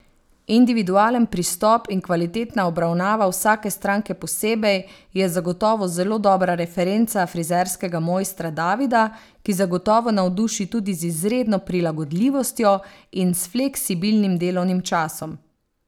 Individualen pristop in kvalitetna obravnava vsake stranke posebej je zagotovo zelo dobra referenca frizerskega mojstra Davida, ki zagotovo navduši tudi z izredno prilagodljivostjo in s fleksibilnim delovnim časom.